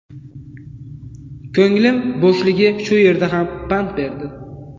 Ko‘nglim bo‘shligi shu yerda ham pand berdi.